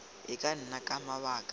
e ka nna ka mabaka